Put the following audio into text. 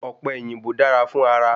Ọ̀pẹ̀yìnbó dára fún ara